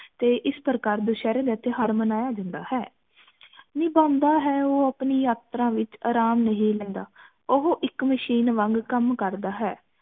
ਤੇ ਇਸ ਪ੍ਰਕਾਰ ਦੁਸਹਿਰੇ ਦਾ ਤਿਓਹਾਰ ਮਨਾਇਆ ਜਾਂਦਾ ਹੈ ਨਿਬੰਧ ਇਹ ਹੈ ਉਹ ਆਪਣੀ ਯਾਤਰਾ ਵਿਚ ਅਰਾਮ ਨਹੀਂ ਲੈਂਦਾ ਉਹ ਇਕ ਵਾਂਗ ਕਮ ਕਰਦਾ ਹੈ